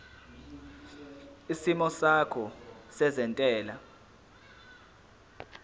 isimo sakho sezentela